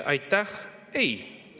Aitäh!